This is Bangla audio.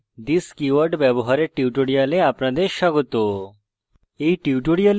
জাভাতে this keyword ব্যবহারের tutorial আপনাদের স্বাগত